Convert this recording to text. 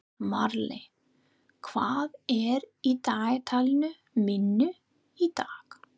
Marley, hvað er í dagatalinu mínu í dag?